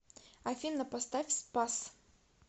афина поставь спас